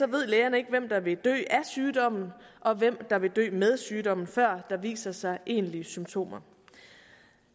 ved lægerne ikke hvem der vil dø af sygdommen og hvem der vil dø med sygdommen før der viser sig egentlige symptomer